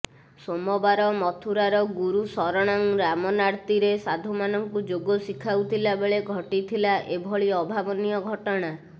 ସୋମବାର ମଥୁରାର ଗୁରୁ ଶରଣଂ ରାମନାର୍ତ୍ତୀରେ ସାଧୁମାନଙ୍କୁ ଯୋଗ ଶିଖାଉଥିଲାବେଳେ ଘଟିଥିଲା ଏଭଳି ଅଭାବନୀୟ ଘଟଣା